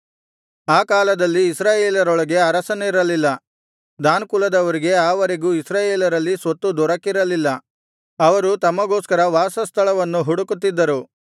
ಆ ಕಾಲದಲ್ಲಿ ಇಸ್ರಾಯೇಲರೊಳಗೆ ಅರಸನಿರಲಿಲ್ಲ ದಾನ್ ಕುಲದವರಿಗೆ ಆ ವರೆಗೂ ಇಸ್ರಾಯೇಲರಲ್ಲಿ ಸ್ವತ್ತು ದೊರಕಿರಲಿಲ್ಲ ಅವರು ತಮಗೋಸ್ಕರ ವಾಸಸ್ಥಳವನ್ನು ಹುಡುಕುತ್ತಿದ್ದರು